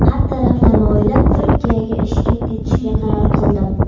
Har taraflama o‘ylab, Turkiyaga ishga ketishga qaror qildim.